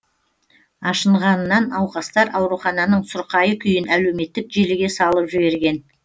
ашынғанынан науқастар аурухананың сұрқайы күйін әлеуметтік желіге салып жіберген